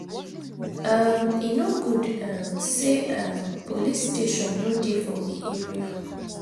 um E no good um sey um police station no dey for we area.